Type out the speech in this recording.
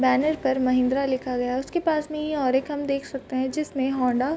banner पर महिन्द्रा लिखा गया है उसके पास में ये और एक हम देख सकते हैं जिसमें हौंडा --